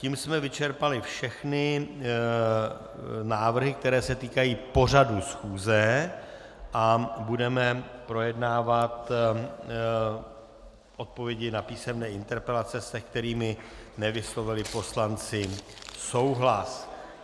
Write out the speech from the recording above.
Tím jsme vyčerpali všechny návrhy, které se týkají pořadu schůze, a budeme projednávat odpovědi na písemné interpelace, se kterými nevyslovili poslanci souhlas.